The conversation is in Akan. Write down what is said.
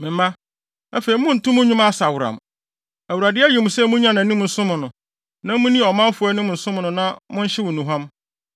Me mma, afei monnto mo nnwuma asaworam. Awurade ayi mo sɛ munnyina nʼanim nsom no, na munni ɔmanfo anim nsom no na monhyew nnuhuam.”